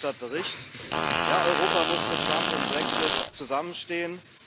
Zum Verhofstadt Bericht Ja, Europa muss mit Trump und Brexit zusammenstehen.